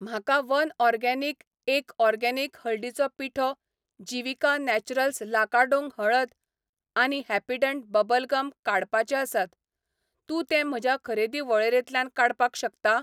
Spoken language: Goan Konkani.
म्हाका वनऑर्गेनिक, एक ऑर्गेनिक हळदीची पिठो, जीविका नॅचरल्स लाकाडोंग हळद आनी हॅपीडेंट बबल गम काडपाचे आसात, तूं ते म्हज्या खरेदी वळेरेंतल्यान काडपाक शकता?